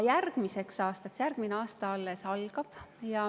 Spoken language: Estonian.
Aga järgmine aasta alles algab.